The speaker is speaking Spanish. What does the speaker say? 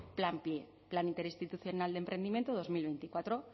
plan pie plan interinstitucional de emprendimiento dos mil veinticuatro